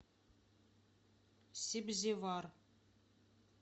себзевар